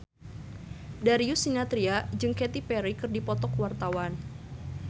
Darius Sinathrya jeung Katy Perry keur dipoto ku wartawan